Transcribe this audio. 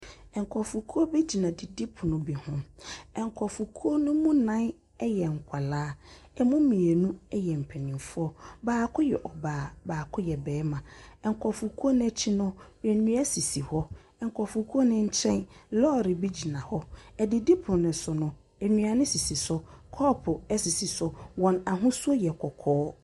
Nkrɔfokuo bi gyina adidipono bi ho. Nkrɔfokuo no mu nan yɛ nkwaraa. Emu mmienu yɛ mpanimfoɔ. Baako yɛ ɔbaa. Baako yɛ barima. Nkrɔfokuo no akyi no, nnua sisi hɔ. Nkrɔfokuo no kyɛn, lɔɔre bi gyina hɔ. Aidipono no so no, nnuane sisi so. Kɔɔpo sisi so. Wɔn ahosu yɛ kɔkɔɔ.